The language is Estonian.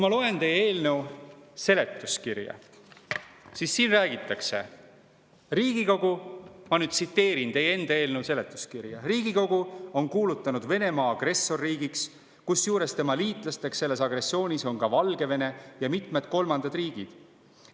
Ma loen, tsiteerin nüüd teie enda eelnõu seletuskirja: "Riigikogu on kuulutanud Venemaa agressorriigiks, kusjuures tema liitlasteks selles agressioonis on ka Valgevene ja mitmed kolmandad riigid.